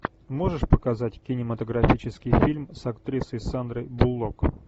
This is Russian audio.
можешь показать кинематографический фильм с актрисой сандрой буллок